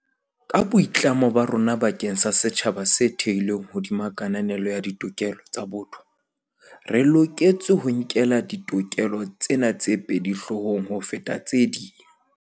Ka boitlamo ba rona bakeng sa setjhaba se thehilweng hodima kananelo ya ditokelo tsa botho, re loketse ho nkela ditokelo tsena tse pedi hloohong ho feta tse ding.